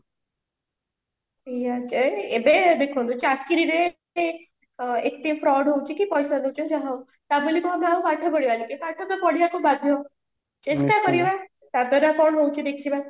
ସେଇଆ ଯେ ଏବେ ଦେଖନ୍ତୁ ଚାକିରିରେ ଏତେ fraud ହଉଛି କି ପଇସା ଖର୍ଚ୍ଚ ହଉ ଯାହା ହଉ ଟା ବୋଲି କଣ ଆମେ ପାଠ ପଢିବାନି ଏ ପାଠ ତ ପଢିବା କୁ ବାଧ୍ୟ ଚେଷ୍ଟା କରିବା ତା ଦ୍ଵାରା କଣ ହଉଛି ଦେଖିବା